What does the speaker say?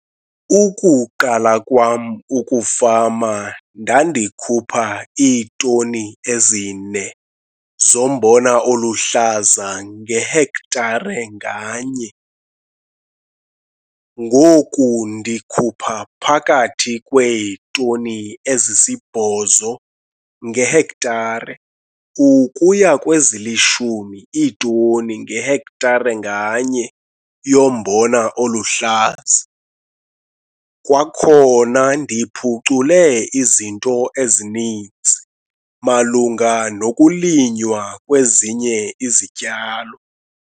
Ukuqala kwam ukufama ndandikhupha iitoni ezi-4 zombona oluhlaza ngehektare nganye. Ngoku ndikhupha phakathi kweetoni ezisi-8 ngehektare ukuya kwezili-10 iitoni ngehektare nganye yombona oluhlaza. Kwakhona ndiphucule izinto ezininzi malunga nokulinywa kwezinye izityalo.